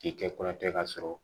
I kɛ kɔrɔ tɛ ka sɔrɔ